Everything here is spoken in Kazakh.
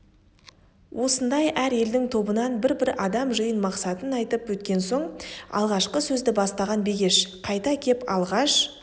осындай әр елдің тобынан бір-бір адам жиын мақсатын айтып өткен соң алғашқы сөзді бастаған бегеш қайта кеп алғаш